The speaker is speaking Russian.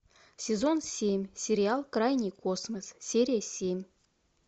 сезон семь сериал крайний космос серия семь